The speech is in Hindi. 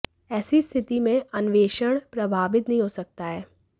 ऐसी स्थिति में अन्वेषण प्रभावित नहीं हो सकता है